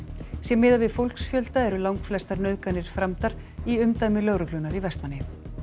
sé miðað við fólksfjölda eru langflestar nauðganir framdar í umdæmi lögreglunnar í Vestmannaeyjum